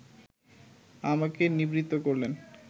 আমাকে নিবৃত্ত করলেন